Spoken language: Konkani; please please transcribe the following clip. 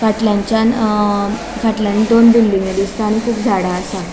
फाटल्यान्चान अ फाटल्यान दोन बिल्डिंगो दिसता आणि कुब झाड़ा असा.